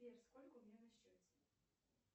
сбер сколько у меня на счете